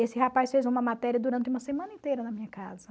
Esse rapaz fez uma matéria durante uma semana inteira na minha casa.